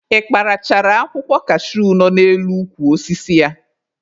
Ị kparachara akwụkwọ kashuu nọ n'elu ukwu osisi ya?